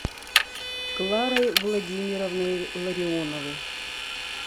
кларой владимировной ларионовой